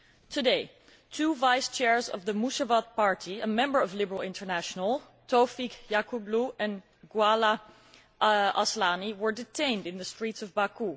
Today, two vice chairs of the Müsavat party, a member of Liberal International, Tofiq Yaqublu and Gulaga Aslanli, were detained in the streets of Baku.